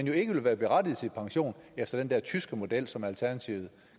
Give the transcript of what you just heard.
jo ikke være berettiget til pension efter den der tyske model som alternativet